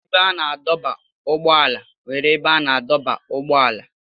Ebe a na-adọba ụgbọala nwere ebe a na-adọba ụgbọala.